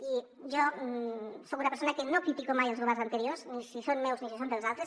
i jo soc una persona que no critica mai els go·verns anteriors ni si són meus ni si són dels altres